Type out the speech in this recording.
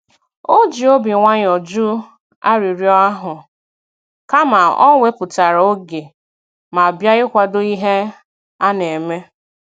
O ji obi nwayọ jụ arịrịọ ahụ, kama o wepụtara oge ma bịa ikwado ihe a na-eme.